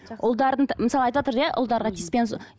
мысалға айтыватыр иә ұлдарға тиіспеңіз